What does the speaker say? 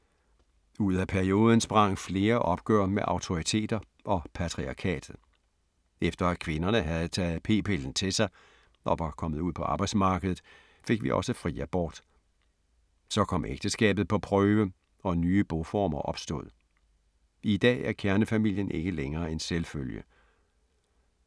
Ud af perioden sprang flere opgør med autoriteter og patriarkatet. Efter at kvinderne havde taget p-pillen til sig og var kommet ud på arbejdsmarkedet fik vi også fri abort. Så kom ægteskabet på prøve og nye boformer opstod. I dag er kernefamilien ikke længere en selvfølge.